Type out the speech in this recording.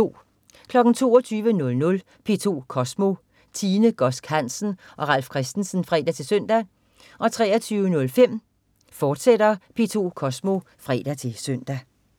22.00 P2 Kosmo. Tine Godsk Hansen og Ralf Christensen (fre-søn) 23.05 P2 Kosmo, fortsat (fre-søn)